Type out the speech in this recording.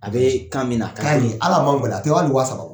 A bɛ kan minna, ka minna ali a ma a gɛlɛn, a tɛ hali wa saba bɔ.